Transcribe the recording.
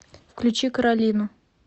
включи каролину